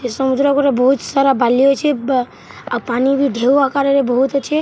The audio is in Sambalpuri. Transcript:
ଏ ସମୁଦ୍ର କୂଲେ ବହୁତ ସାରା ବାଲି ଅଛେ ବ ଆଉ ପାନି ବ ଢେଉ ଆକାରରେ ବହୁତ ଅଛେ--